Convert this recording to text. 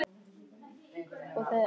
Það sakar ekki að ræða málin.